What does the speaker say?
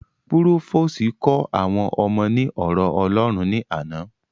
Púròfòsì kó àwọn ọmọ ní ọ̀rọ̀ ọlọ́hun ní àná